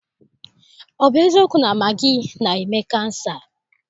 Ọ bụ eziokwu na magị na-eme kansa?